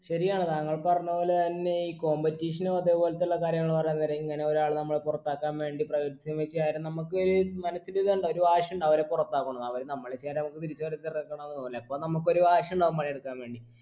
ശരിയാണ് താങ്കൾ പറഞ്ഞ പോലെ തന്നെ ഈ competition ഉ അതെ പോലതുള്ള കാര്യങ്ങൾ പറയാൻ നേരം ഇങ്ങനെ ഒരാള് നമ്മളെ പൊറത്താക്കാൻ വേണ്ടി നമ്മക്കൊരു മനസ്സിൽ ഇതുണ്ടാകും ഒരു വാശിയുണ്ടാകും അവരെ പൊറത്താക്കണം എന്ന് അവര് നമ്മളെ അപ്പൊ നമുക്ക് ഒരു വാശിയുണ്ടാകും പണിയെടുക്കാൻ വേണ്ടി